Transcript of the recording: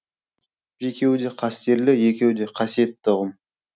екеуі де қастерлі екеуі де қасиетті ұғым